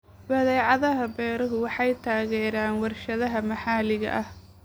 Badeecadaha beeruhu waxay taageeraan warshadaha maxalliga ah.